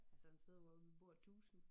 Altså en sted hvor vi bor tusind